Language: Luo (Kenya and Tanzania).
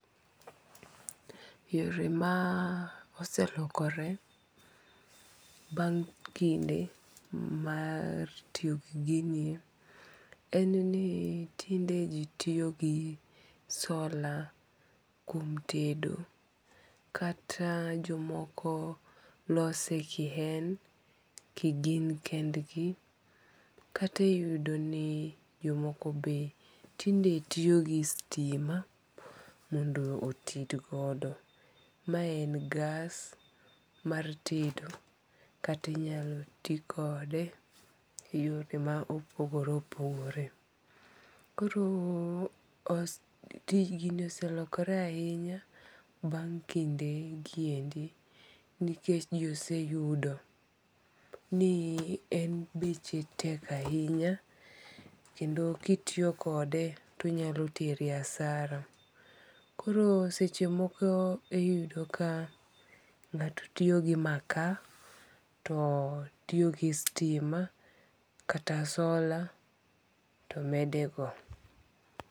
Yore maa oselokore bang' kinde mar tiyo giginie, en ni tinde ji tiyo gi solar kuom tedo, kata jomoko lose kiyen kigin kendgi, kata iyudo ni jomoko be tinde tiyo gi stima mondo oted godo, mae en gas mar tedo kata inyal ti kode e yore ma opogore opogore, koro os tijni oselokore ainya bang' kinde gi endi, nikech jo oseyudo ni en beche tek ahinya kendo ka itiyi kode to onyalo teri hasara, koro sechemoko e iyudo ka nga'to tiyo gi makaa to tiyo gi stima kata solar to medego.